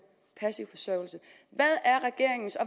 passiv forsørgelse hvad er regeringens og